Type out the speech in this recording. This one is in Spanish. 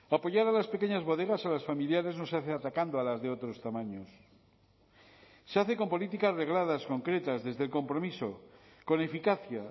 apoyar a las pequeñas bodegas a las familiares no se hace atacando a las de otros tamaños se hace con políticas regladas concretas desde el compromiso con eficacia